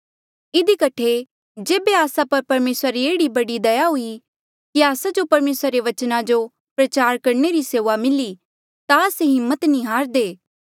इधी कठे जेबे आस्सा पर परमेसरा री एह्ड़ी दया हुई कि आस्सा जो परमेसरा रे बचना जो प्रचार करणे री सेऊआ मिली ता आस्से हिम्मत नी हारदे